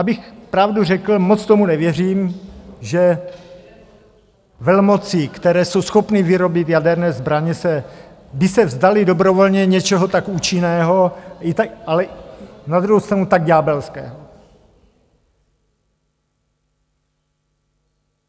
Abych pravdu řekl, moc tomu nevěřím, že velmoci, které jsou schopny vyrobit jaderné zbraně, by se vzdaly dobrovolně něčeho tak účinného, ale na druhou stranu tak ďábelského.